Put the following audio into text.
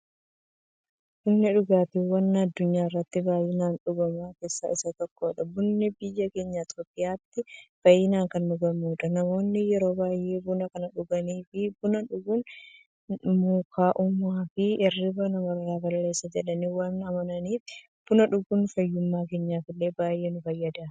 Bunni dhugaatiiwwan addunyaarratti baay'inaan dhugaman keessaa isa tokkodha. Bunni biyya keenya Itiyoophiyaattis baay'inaan kan dhugamuudha. Namoonni yeroo baay'ee buna kan dhuganiif, buna dhuguun mukaa'ummaafi hirriiba namarraa balleessa jedhanii waan amananiifi. Buna dhuguun fayyummaa keenyaf illee baay'ee nu fayyada.